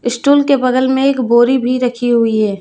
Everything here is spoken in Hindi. स्टूल के बगल में एक बोरी भी रखी हुई है।